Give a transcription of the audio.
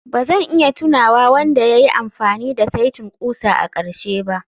Ba zan iya tunawa wanda ya yi amfani da saitin ƙusa a ƙarshe ba